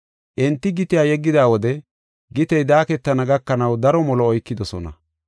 Enti gitiya yeggida wode gitey daaketana gakanaw daro molo oykidosona.